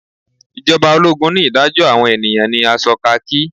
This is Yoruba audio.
ijoba ologun ni idajo awon eniyan ni aso khaki.